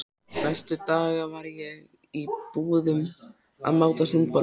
Næstu daga var ég í búðum að máta sundboli.